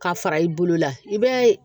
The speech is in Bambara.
Ka fara i bolo la i b'a ye